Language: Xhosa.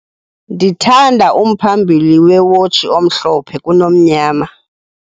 Ndithanda umphambili wewotshi omhlomphe kunomnyama.